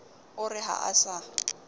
o re ha o sa